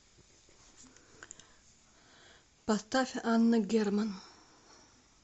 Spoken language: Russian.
поставь анна герман